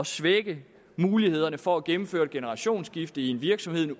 svække mulighederne for at gennemføre et generationsskifte i en virksomhed